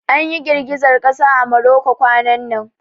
An ƴi girgizar kasa a Morocco kwanan nan.